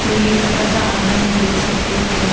तो ये छोटा सा आंगन हम देख सकते हैं जहां--